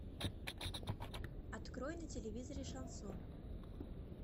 открой на телевизоре шансон